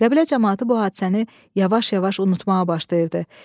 Qəbilə camaatı bu hadisəni yavaş-yavaş unutmağa başlayırdı.